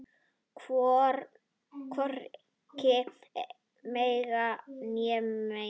Hvorki meira né minna.